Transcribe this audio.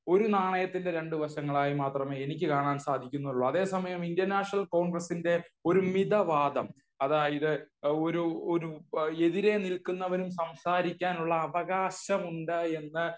ഒരു നാണയത്തിന്റെ രണ്ടു വശങ്ങളായി മാത്രമേ എനിക്ക് കാണാൻ സാധിക്കുന്നുള്ളൂ. അതേ സമയം ഇന്ത്യൻ നാഷനൽ കോണ്ഗ്രസ്സിന്റെ ഒരു മിത വാദം അതായത് ഒരു ഒരു എതിരെ നിൽക്കുന്നവനും സംസാരിക്കാനുള്ള അവകാശമുണ്ട് എന്ന്